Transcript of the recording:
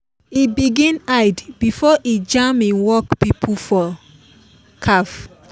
e begin hide before e jam him work people for cafe.